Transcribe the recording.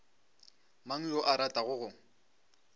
mang yo a ratago go